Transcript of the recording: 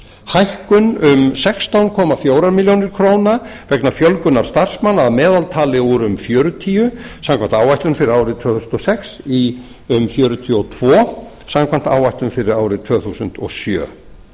hækkun um sextán komma fjórum milljónum króna vegna fjölgunar starfsmanna að meðaltali úr um fjörutíu samkvæmt áætlun fyrir árið tvö þúsund og sex í um fjörutíu og tvö samkvæmt áætlun fyrir árið tvö þúsund og sjö